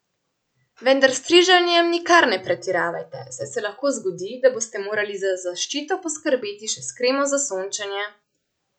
Vendar s striženjem nikar ne pretiravajte, saj se lahko zgodi, da boste morali za zaščito poskrbeti še s kremo za sončenje.